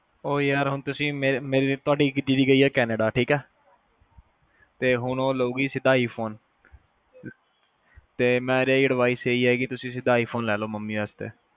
ਓ ਯਾਰ ਹੁਣ ਤੁਸੀ ਤੁਹਾਡੀ ਦੀਦੀ ਗਈ ਆ ਕੈਨੇਡਾ ਠੀਕ ਆ ਤੇ ਹੁਣ ਓ ਲਊਗੀ ਸਿੱਧਾ iPhone ਤੇ ਮੇਰੀ advices ਇਹੀ ਆ ਕੇ ਤੁਸੀ ਸਿੱਧਾ iphone ਲੈ ਲਓ ਮੰਮੀ ਵਾਸਤੇ